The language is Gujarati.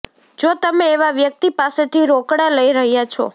જો તમે એવા વ્યક્તિ પાસેથી રોકડા લઈ રહ્યાં છો